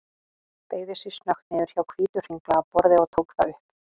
Beygði sig snöggt niður hjá hvítu, hringlaga borði og tók það upp.